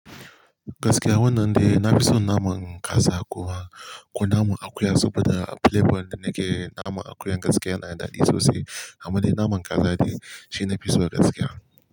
Gaskiya wannan dai na fi son naman kasa kuwa ko naman akuya saboda flavor da nake naman akuyan gaskiya yana daɗi sosai. Amma dai naman kaza dai shi nafi so gaskiya.